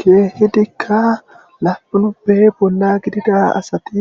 Keehidika laapunuppe bolla gidida asati